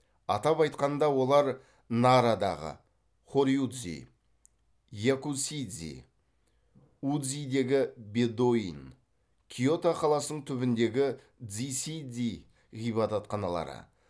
атап айтқанда олар нарадағы хорюдзи якусидзи удзидегі бедоин киото қаласының түбіндегі дзиседзи ғибадатханалары